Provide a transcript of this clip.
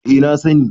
eh na sani